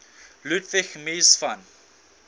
ludwig mies van